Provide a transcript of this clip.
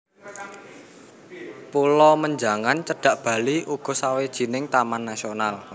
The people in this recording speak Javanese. Pulo Menjangan cedhak Bali uga sawijining taman nasional